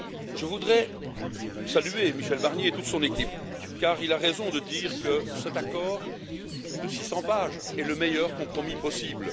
Je voudrais saluer Michel Barnier et toute son équipe, car il a raison de dire que cet accord de 600 pages est le meilleur compromis possible.